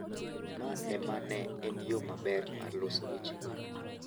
Ma ema ne en yo maber mar loso wechego.